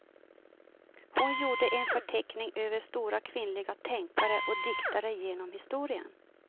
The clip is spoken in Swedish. Hon gjorde en förteckning över stora kvinnliga tänkare och diktare genom historien.